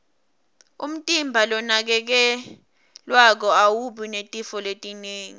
umtimba lonakekelwako awubi netifo letinengi